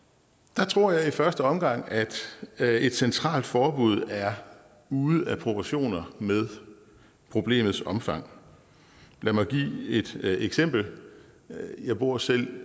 der tror jeg i første omgang et et centralt forbud er ude af proportioner med problemets omfang lad mig give et eksempel jeg bor selv